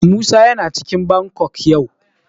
Musa yana cikin Bangkok yau.